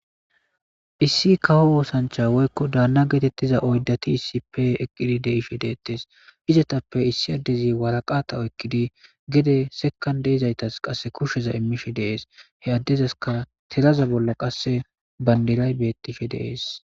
Issi kawo woosancha woykko daanna geetettiza oydati issipe eqqidi deishe deettes hizatappe issi addezi waraqata oykkidi gede sekan deizaytas qasse kushsheza immishe dees he addezaska telaza bolla qasse bandiray bettishe deees